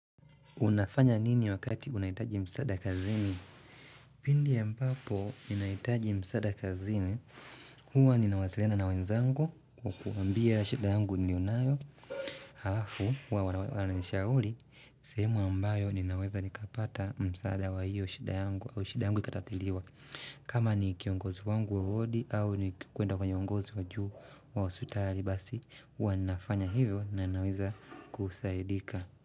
Unafanya nini wakati unahitaji msada kazini? Pindi ambapo, ninahitaji msaada kazini. Huwa ninawasiliana na wenzangu kuwaambia shida yangu niliyonayo. Halafu, huwa wananishauri. Sehemu ambayo ninaweza nikapata msaada wa hiyo shida yangu. Au shida yangu ikatatiliwa. Kama ni kiongozi wangu wa wodi, au ni kuenda kwenye uongozi wa juu wa hospitali basi. Huwa nafanya hivyo na naweza kusaidika.